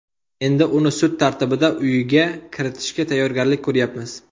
Endi uni sud tartibida uyiga kiritishga tayyorgarlik ko‘ryapmiz.